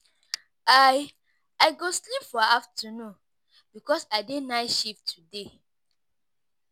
I I go sleep for afternoon because I dey night shift today.